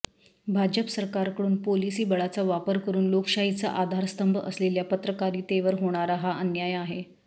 भाजप सरकारकडून पोलिसी बळाचा वापर करून लोकशाहीचा आधारस्तंभ असलेल्या पत्रकारितेवर होणारा हा अन्याय आहे